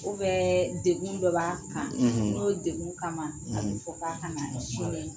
Ubɛ degu dɔ b'a kan n'o degu kama a bi fɔ k'a kana sin di